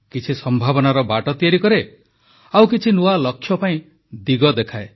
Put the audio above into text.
କିଛି ସମ୍ଭାବନାର ବାଟ ତିଆରି କରେ ଆଉ କିଛି ନୂଆ ଲକ୍ଷ୍ୟ ପାଇଁ ଦିଗ ଦେଖାଏ